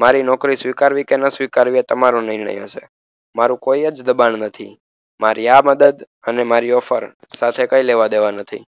મારી નોકરી સ્વીકારવી કે ન સ્વીકારવી એ તમારો નિર્ણય હશે મારુ કોઈજ દબાણ નથી મારી આ મદદ અને મારી ઓફર સાથે કઈ લેવાદેવા નથી